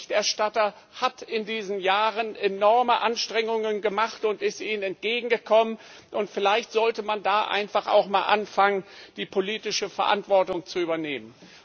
Der Berichterstatter hat in diesen Jahren enorme Anstrengungen gemacht und ist Ihnen entgegengekommen, und vielleicht sollte man da einfach auch mal anfangen, die politische Verantwortung zu übernehmen.